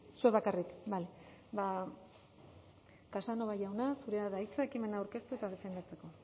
zuek bakarrik bale ba casanova jauna zurea da hitza ekimen aurkeztu eta defendatzeko